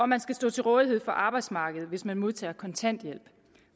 man skal stå til rådighed for arbejdsmarkedet hvis man modtager kontanthjælp